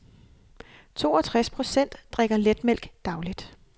Toogtres procent drikker letmælk dagligt.